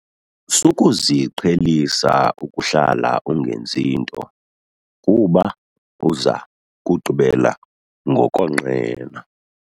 Sukuziqhelisa ukuhlala ungenzi nto kuba uza kugqibela ngokonqena.